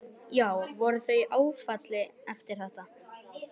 Sunna: Já, voru þau í smá áfalli eftir þetta?